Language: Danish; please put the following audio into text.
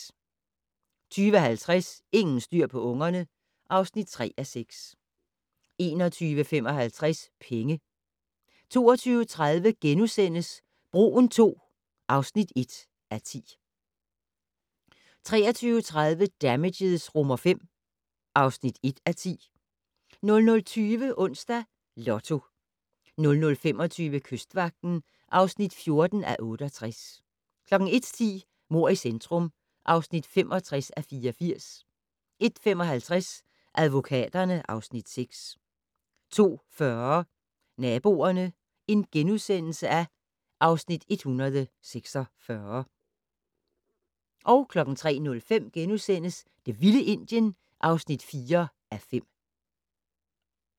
20:50: Ingen styr på ungerne (3:6) 21:55: Penge 22:30: Broen II (1:10)* 23:30: Damages V (1:10) 00:20: Onsdags Lotto 00:25: Kystvagten (14:68) 01:10: Mord i centrum (65:84) 01:55: Advokaterne (Afs. 6) 02:40: Naboerne (Afs. 146)* 03:05: Det vilde Indien (4:5)*